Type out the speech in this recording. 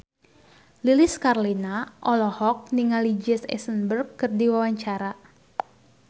Lilis Karlina olohok ningali Jesse Eisenberg keur diwawancara